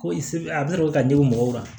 Ko se bɛ a bɛ ne bolo k'a di mɔgɔw ma